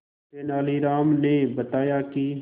तेनालीराम ने बताया कि